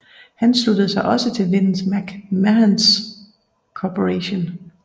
Han sluttede sig også til Vince McMahons Corporation